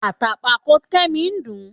Àtàǹpàkò Kẹ́mi ń dùn-ún